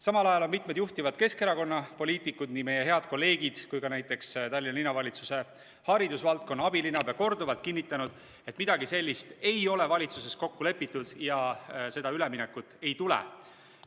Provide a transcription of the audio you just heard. Samal ajal on mitu juhtivat Keskerakonna poliitikut, nii meie head kolleegid kui ka näiteks Tallinna Linnavalitsuse haridusvaldkonna abilinnapea korduvalt kinnitanud, et midagi sellist ei ole valitsuses kokku lepitud ja seda üleminekut ei tule.